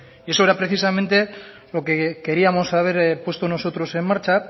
y eso era precisamente lo que queríamos haber puesto nosotros en marcha